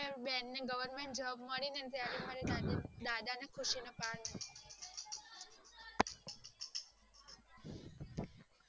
બેન ને govermentjob મળી ને ત્યારે મારા દાદા ને ખુશી નો પર નો રયો